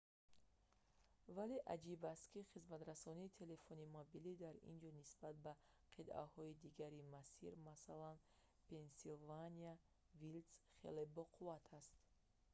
вале аҷиб аст ки хизматрасонии телефони мобилӣ дар ин ҷо нисбат ба қитъаҳои дигари масир масалан пенсилвания вилдс хеле боқувваттар аст